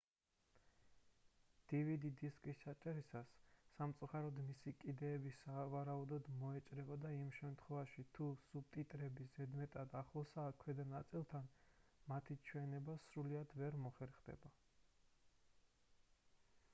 dvd დისკის ჩაწერისას სამწუხაროდ მისი კიდეები სავარაუდოდ მოიჭრება და იმ შემთხვევაში თუ სუბტიტრები ზედმეტად ახლოსაა ქვედა ნაწილთან მათი ჩვენება სრულად ვერ მოხერხდება